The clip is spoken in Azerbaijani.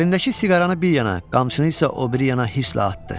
Əlindəki siqaranı bir yana, qamçısını isə o biri yana hisslə atdı.